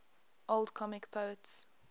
old comic poets